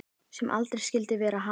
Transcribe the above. Sem aldrei skyldi verið hafa.